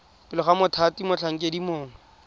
pele ga mothati motlhankedi mongwe